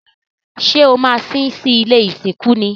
Ṣé o maa sín sí ilé ìsìnkú ni?